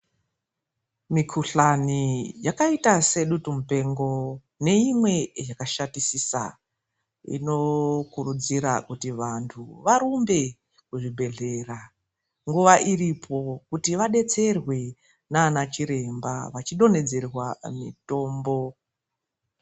Mikuhlani yakaita sedutu mupengo, neimwe yakashatisisa inokurudzira kuti vantu varumbe kuzvibhedhlera nguva iripo kuti vadetserwe nanachiremba vachidondedzerwa mitombo.